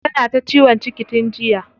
Tana ta ciwon ciki tun jiya.